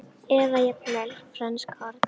Eða jafnvel frönsk horn?